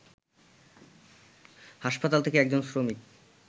হাসপাতাল থেকে একজন শ্রমিক